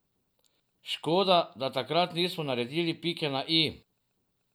Škoda, da takrat nismo naredili pike na i.